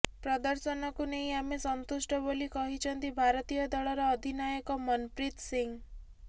ପ୍ରଦର୍ଶନକୁ ନେଇ ଆମେ ସନ୍ତୁଷ୍ଟ ବୋଲି କହିଛନ୍ତି ଭାରତୀୟ ଦଳର ଅଧିନାୟକ ମନପ୍ରୀତ ସିଂହ